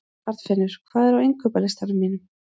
Arnfinnur, hvað er á innkaupalistanum mínum?